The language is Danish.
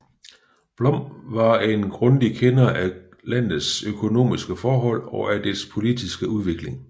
Blom var en grundig kender af landets økonomiske forhold og af dets politiske udvikling